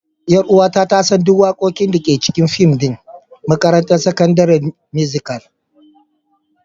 Ƴar'uwata ta san duk waƙoƙin da ke cikin fim ɗin: Makarantar Sakandare Musical.